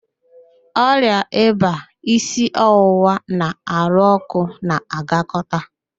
Ọrịa ịba, isi ọwụwa na ahụ ọ́kụ́ na-agakọta